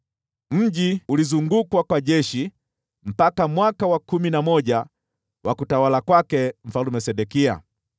Mji ulizungukwa na jeshi mpaka mwaka wa kumi na moja wa utawala wa Mfalme Sedekia.